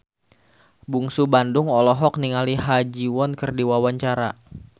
Bungsu Bandung olohok ningali Ha Ji Won keur diwawancara